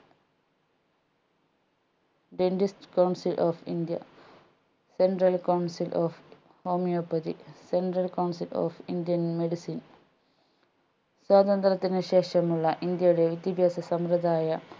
dentist coucil of indiacentral council of homeopathycentral council of indian medicine സ്വാതന്ത്ര്യത്തിന് ശേഷമുള്ള ഇന്ത്യയുടെ വിദ്യാഭ്യാസ സമ്പ്രദായ